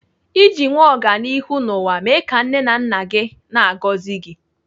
Iji nwee ọganihu n'ụwa, mee ka nne na nna gị na-agọzi gi